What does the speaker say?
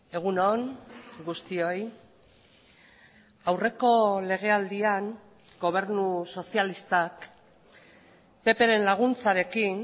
egun on guztioi aurreko legealdian gobernu sozialistak ppren laguntzarekin